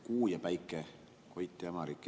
Kuu ja päike, Koit ja Hämarik.